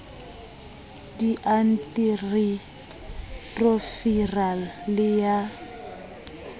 di anti retroviral le ya